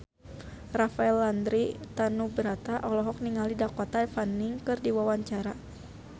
Rafael Landry Tanubrata olohok ningali Dakota Fanning keur diwawancara